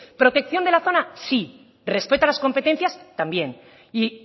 protección de la zona sí respeto a las competencias también y